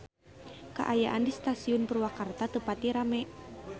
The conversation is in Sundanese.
Kaayaan di Stasiun Purwakarta teu pati rame